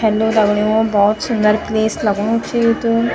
हेलो दगड़ियों भौत सुंदर प्लेस लगणू च यु त।